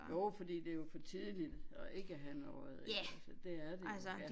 Jo fordi det jo for tidligt at ikke have have noget eller det er det jo ja